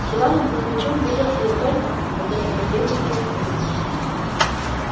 с иваном кузмичем виделся я только когда того требовала служба